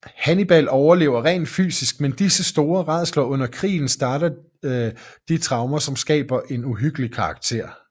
Hannibal overlever rent fysisk men disse store rædsler under krigen starter de traumer som skaber en uhyggelig karakter